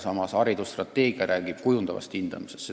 Samas räägib haridusstrateegia kujundavast hindamisest.